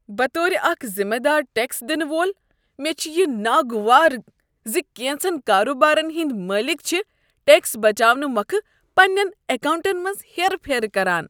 بطور اکھ ذمہٕ دار ٹیکس دنہٕ وول، مےٚ چھ یہ ناگوار ز کینژن کاروبارن ہٕندۍ مٲلک چھ ٹیکس بچاونہٕ مۄکھٕ پننین اکاونٹن منز ہیرٕ پھیرٕ کران۔